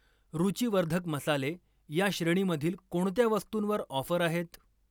रूचीवर्धक मसाले या श्रेणीमधील कोणत्या वस्तुंवर ऑफर आहेत?